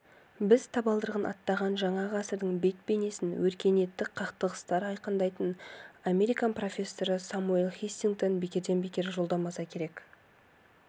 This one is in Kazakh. біз табалдырығын аттаған жаңа ғасырдың бет-бейнесін өркениеттік қақтығыстар айқындайтынын американ профессоры самуэль хантингтон бекерден-бекер жорамалдамаса керек